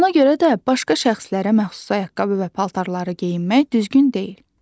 Ona görə də başqa şəxslərə məxsus ayaqqabı və paltarları geyinmək düzgün deyil.